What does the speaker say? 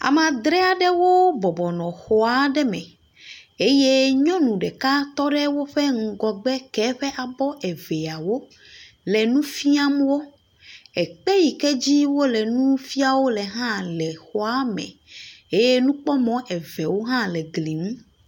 Ame adre aɖewo bɔbɔ nɔ xɔ aɖe me. Eye nyɔnu ɖeka tɔ woƒe ŋgɔgbe ke eƒe abɔ eveawo le nufiam wo. Ekpe yi ked zi wole nufiam wo hã le xɔame. Eye nukpɔmɔ eveawo hã le gli ŋu.